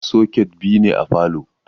Soket biyu ne a falo na.